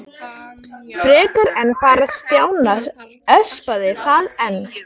En það espaði Stjána bara enn frekar.